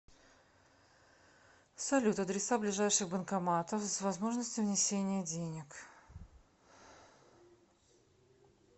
салют адреса ближайших банкоматов с возможностью внесения денег